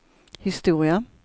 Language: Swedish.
historia